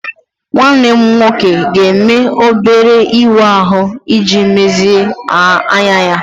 Nwanne m nwoke ga-eme obere ịwa ahụ iji mezie anya ya.